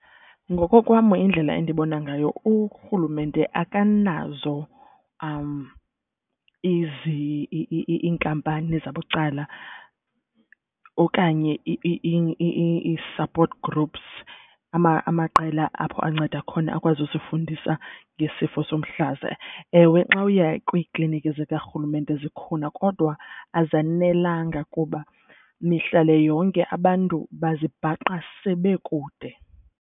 Ngoko kwam indlela endibona ngayo urhulumente akanazo iinkampani zabucala okanye i-support groups. Amaqela apho anceda khona akwazi usifundisa ngesifo somhlaza. Ewe, xa uya kwiikliniki zikarhulumente zikhona kodwa azanelanga kuba mihla le yonke abantu bazibhaqa sebekude.